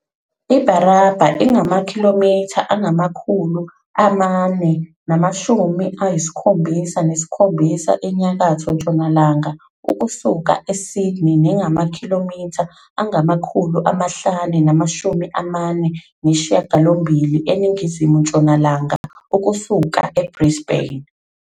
IBarraba ingamakhilomitha angama-477 enyakatho-ntshonalanga ukusuka eSydney nengamakhilomitha angama-548 eningizimu-ntshonalanga ukusuka eBrisbane.